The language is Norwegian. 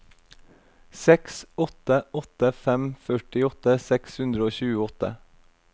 seks åtte åtte fem førtiåtte seks hundre og tjueåtte